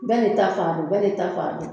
Bɛɛ de ta faamu, bɛɛ de ta faamu.